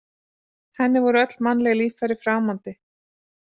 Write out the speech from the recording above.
Henni voru öll mannleg líffæri framandi.